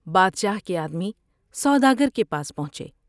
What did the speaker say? بادشاہ کے آدمی سوداگر کے پاس پہنچے ۔